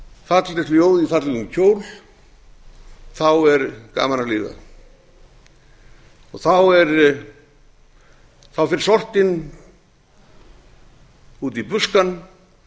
fallegt ljóð í fallegum kjól er gaman að lifa þá fer sortinn út í buskann